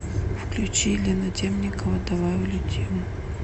включи елена темникова давай улетим